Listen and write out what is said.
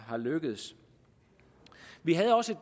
lykkedes vi havde også